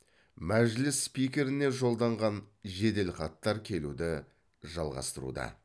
мәжіліс спикеріне жолданған жеделхаттар келуді жалғастыруда